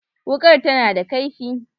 Wukar ta na da kaifi